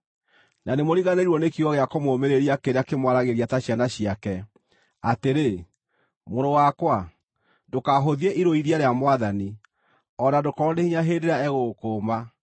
Na nĩmũriganĩirwo nĩ kiugo gĩa kũmũũmĩrĩria kĩrĩa kĩmwaragĩria ta ciana ciake, atĩrĩ: “Mũrũ wakwa, ndũkahũthie irũithia rĩa Mwathani, o na ndũkoorwo nĩ hinya hĩndĩ ĩrĩa egũgũkũũma,